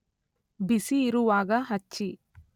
ಬಿಸಿಯಿರುವಾಗ ಹಚ್ಚಿ